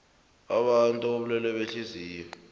abantu bobulwele behliziyo